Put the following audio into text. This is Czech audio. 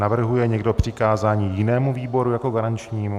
Navrhuje někdo přikázání jinému výboru jako garančnímu?